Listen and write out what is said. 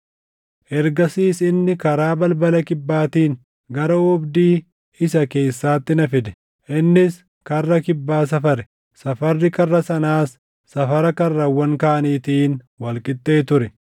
Ergasiis inni karaa balbala kibbaatiin gara oobdii isa keessaatti na fide; innis karra kibbaa safare; safarri karra sanaas safara karrawwan kaaniitiin wal qixxee ture.